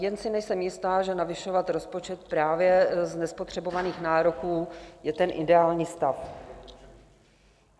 Jen si nejsem jistá, že navyšovat rozpočet právě z nespotřebovaných nároků je ten ideální stav.